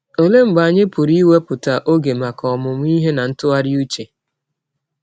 Ọlee mgbe anyị pụrụ iwepụta ọge maka ọmụmụ ihe na ntụgharị ụche?